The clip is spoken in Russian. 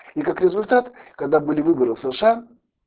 и как результат когда были выборы в сша